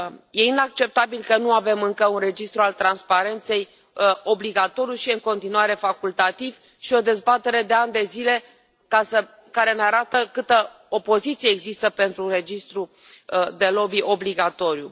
Este inacceptabil că nu avem încă un registru al transparenței obligatoriu și este în continuare facultativ și avem o dezbatere de ani de zile care ne arată câtă opoziție există pentru un registru de lobby obligatoriu.